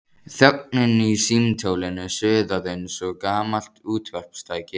Þögnin í símtólinu suðaði eins og gamalt útvarpstæki.